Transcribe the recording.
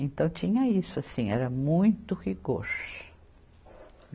Então tinha isso assim, era muito rigor.